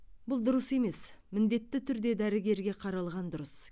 бұл дұрыс емес міндетті түрде дәрігерге қаралған дұрыс